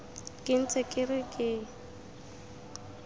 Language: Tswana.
ke ntse ke re ke